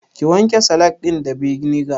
Ki wanke salak ɗin da beniga